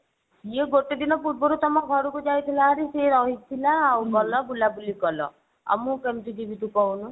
ଇଏ ଗୋଟେ ଦିନ ପୂର୍ବରୁ ତମ ଘରକୁ ଯାଇଥିଲା ହେରି ସିଏ ରହିଥିଲା ଆଉ ଗଲ ବୁଲା ବୁଲି କଲ ଆଉ ମୁଁ କେମତି ଯିବି ତୁ କହୁନୁ।